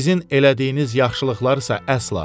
Sizin elədiyiniz yaxşılıqlar isə əsla.